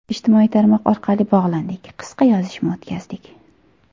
Ijtimoiy tarmoq orqali bog‘landik, qisqa yozishma o‘tkazdik”.